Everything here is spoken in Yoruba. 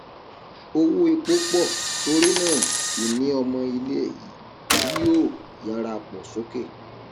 owó epo pọ torí náà ìní ọmọ ilé yóò yára pọ soke